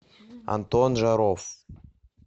антон жаров